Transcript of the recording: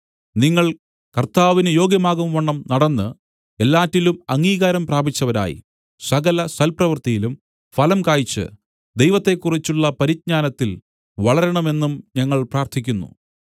നിങ്ങൾ കർത്താവിന് യോഗ്യമാകുംവണ്ണം നടന്ന് എല്ലാറ്റിലും അംഗീകാരം പ്രാപിച്ചവരായി സകല സൽപ്രവൃത്തിയിലും ഫലം കായ്ച് ദൈവത്തെക്കുറിച്ചുള്ള പരിജ്ഞാനത്തിൽ വളരണമെന്നും ഞങ്ങൾ പ്രാർത്ഥിക്കുന്നു